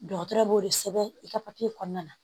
Dɔgɔtɔrɔ b'o de sɛbɛn i ka papiye kɔnɔna na